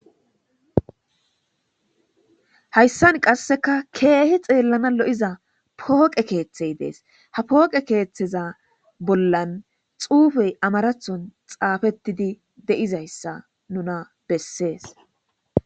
hayssan qasseka keehi xeellana lo7iza pooqe keeththey dees ha pooqe keeththeza bollan xuufey amarathon xaafettidi de7izayssa nuna bessees